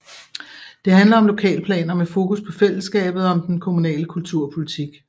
Det handler om lokalplaner med fokus på fællesskabet og om den kommunale kulturpolitik